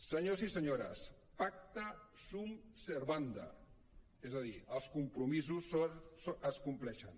senyors i senyores pacta sunt servanda és a dir els compromisos es compleixen